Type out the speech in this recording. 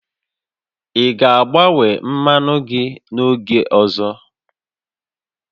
Ị ga-agbanwe mmanụ gị oge ọzọ?